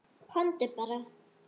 Komdu bara.